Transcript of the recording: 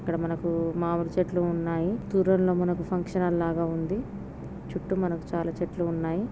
ఇక్కడ మనకు మామిడి చెట్లు ఉన్నాయి. టి టోర్నమెంటు ఫంక్షనాలు లాగా ఉంది. చుట్టూ మనకు చాలా చెట్లు ఉన్నాయి .